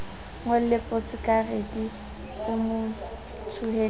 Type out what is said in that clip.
ngolle posekarete o mo thoholetse